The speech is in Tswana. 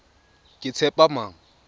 ketshepamang